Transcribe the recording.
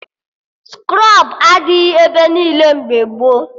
Skrọb adịghị ebe niile mgbe gboo